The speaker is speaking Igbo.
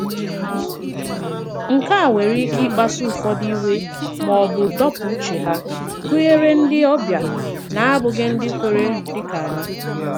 Nke a nwèrè ike ị̀kpasu ụfọdụ iwe ma ọ bụ dọ̀pụ̀ uche há, gụnyere ndị ọbịa na-abụghị ndị kweere dị kà anyị.